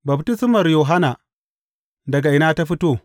Baftismar Yohanna, daga ina ta fito?